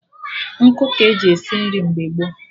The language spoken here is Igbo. Nkụ ka-eji esi nri mgbe gboo